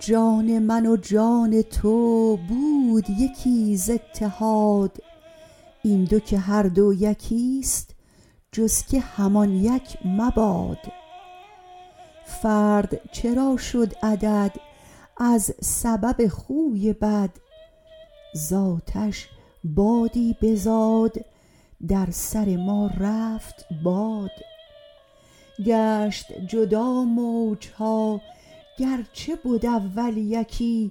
جان من و جان تو بود یکی ز اتحاد این دو که هر دو یکیست جز که همان یک مباد فرد چرا شد عدد از سبب خوی بد ز آتش بادی بزاد در سر ما رفت باد گشت جدا موج ها گرچه بد اول یکی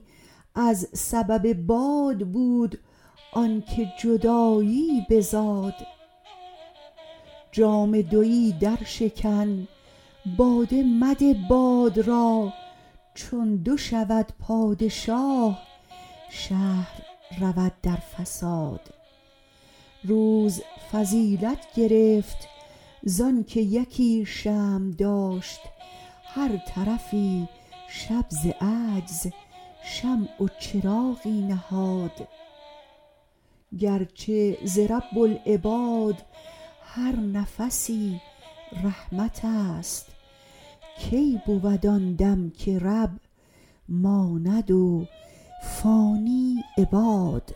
از سبب باد بود آنک جدایی بزاد جام دوی درشکن باده مده باد را چون دو شود پادشاه شهر رود در فساد روز فضیلت گرفت زانک یکی شمع داشت هر طرفی شب ز عجز شمع و چراغی نهاد گرچه ز رب العباد هر نفسی رحمتست کی بود آن دم که رب ماند و فانی عباد